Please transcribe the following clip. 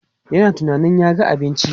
Yana tunanin ya ga abinci.